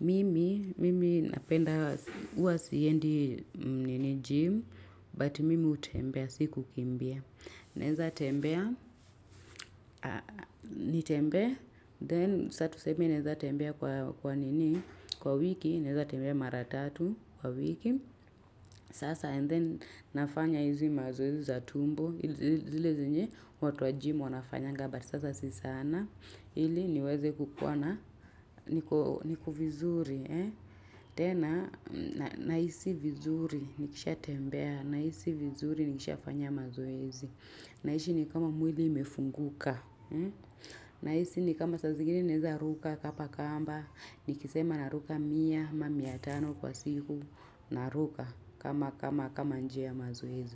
Mimi, mimi napenda, huwa siendi nini gym, but mimi hutembea, si kukimbia. Naeza tembea, nitembee, then sa tuseme naeza tembea kwa nini, kwa wiki, naeza tembea mara tatu kwa wiki, sasa and then nafanya hizi mazoezi za tumbo, hi zile zenye, watu wa gym wanafanyanga, but sasa sisana, ili niweze kukuwana, niko vizuri. Tena, nahisi vizuri, nikisha tembea. Nahisi vizuri, nikisha fanya mazoezi. Nahisi ni kama mwili imefunguka. Nahisi ni kama sa zingine naeza ruka kapa kamba. Nikisema na ruka mia, ma mia tano kwa siku. Naruka, kama njia mazoezi.